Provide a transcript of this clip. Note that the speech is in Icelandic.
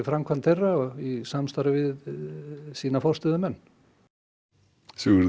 framkvæmd þeirra í samstarfi við sína forstöðumenn Sigurður